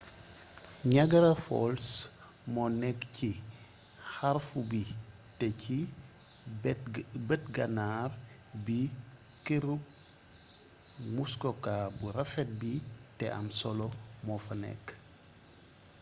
niagara falls monékk ci xarfu bi té ci beet gannar bi keeruk muskoka bu rafet bi té am solo mofa nékk